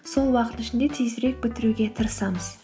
сол уақыттың ішінде тезірек бітіруге тырысамыз